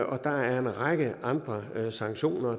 og der er en række andre sanktioner